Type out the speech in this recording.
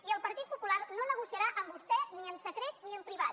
i el partit popular no negociarà amb vostè ni en secret ni en privat